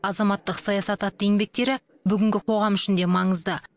азаматтық саясат атты еңбектері бүгінгі қоғам үшін де маңызды